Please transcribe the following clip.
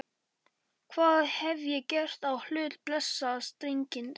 Hvað hef ég gert á hlut blessaðs drengsins?